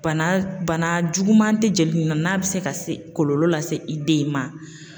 Bana bana juguman tɛ jeli nin na n'a bɛ se ka se kɔlɔlɔ lase i den in ma ?